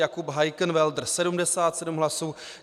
Jakub Heikenwälder 77 hlasů.